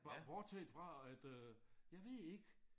Bortset fra at øh jeg ved ikke